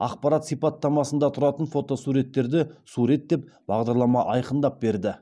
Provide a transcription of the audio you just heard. ақпарат сипаттамасында тұратын фотосуреттерді сурет деп бағдарлама айқындап берді